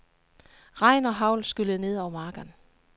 Regn og hagl skyllede ned over marken.